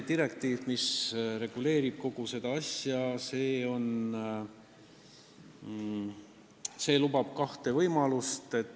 Direktiiv, mis seda kõike reguleerib, lubab kahte võimalust.